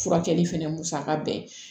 Furakɛli fɛnɛ musaka bɛɛ